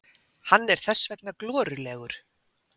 Hann er þess vegna glorulegur.